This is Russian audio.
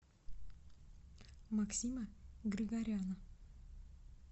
максима григоряна